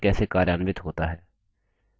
चलिए देखते हैं कि यह कैसे कार्यान्वित होता हैं